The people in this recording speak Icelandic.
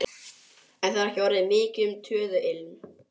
En það er ekki orðið mikið um töðuilm.